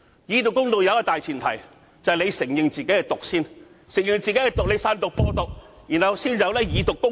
"以毒攻毒"有一個大前提，就是必須先承認自己是"毒"，然後散毒、播毒，這才會出現"以毒攻毒"。